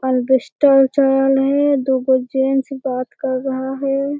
अलबेस्टर चढ़ल है दूगो जेन्ट्स बात कर रहा है।